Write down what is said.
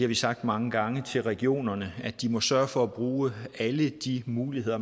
vi sagt mange gange til regionerne at de må sørge for at bruge alle de muligheder